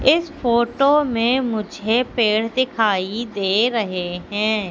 इस फोटो मे मुझे पेड़ दिखाई दे रहे हैं।